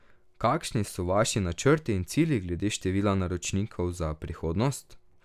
Kakšni so vaši načrti in cilji glede števila naročnikov za prihodnost?